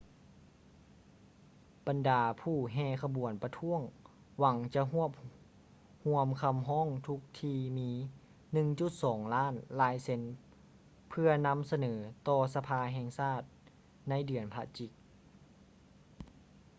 ບັນດາຜູ້ແຫ່ຂະບວນປະທ້ວງຫວັງຈະຮວບຮວມຄຳຮ້ອງທຸກທີ່ມີ 1.2 ລ້ານລາຍເຊັນ ເພື່ອນຳສະເໜີຕໍ່ສະພາແຫ່ງຊາດໃນເດືອນພະຈິກ